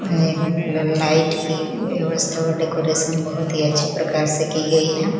Light की व्यवस्था और डेकोरेशन बहुत ही अच्छे प्रकार से की गई है।